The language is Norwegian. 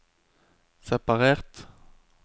separert